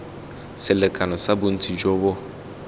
selekano sa bontsi jo bo